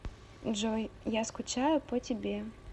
джой я скучаю по тебе